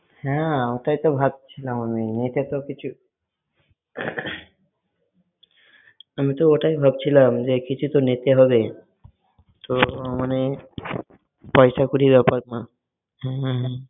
হ্যাঁ, ওটাই তো ভাবছিলাম আমি, নিতে তো কিছু~, আমিতো ওটাই ভাবছিলাম যে কিছু তো নিতেই হবে। তো~ মানে পয়সাকড়ি বেপার না।